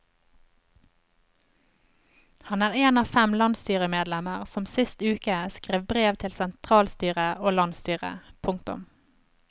Han er en av fem landsstyremedlemmer som sist uke skrev brev til sentralstyret og landsstyret. punktum